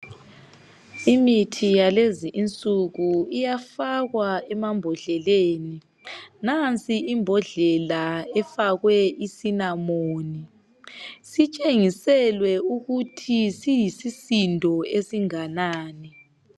Imithi yakulezinsuku iyafakwa emambodleleni. Nansi imbodlela efakwe isinamoni. Sitshengiselwe ukuthi siyisisindo esinganani.